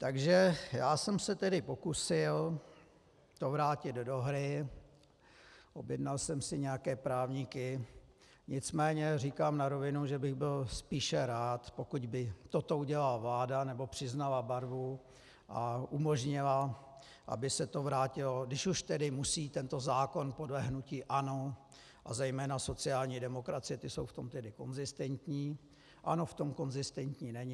Takže já jsem se tedy pokusil to vrátit do hry, objednal jsem si nějaké právníky, nicméně říkám na rovinu, že bych byl spíše rád, pokud by toto udělala vláda, nebo přiznala barvu a umožnila, aby se to vrátilo, když už tedy musí tento zákon podle hnutí ANO a zejména sociální demokracie - ti jsou v tom tedy konzistentní, ANO v tom konzistentní není.